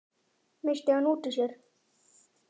missti hann út úr sér.